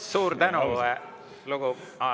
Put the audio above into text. Suur tänu!